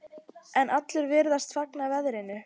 En allir virðast fagna verðinu.